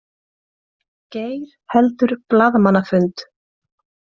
Geir heldur blaðamannafund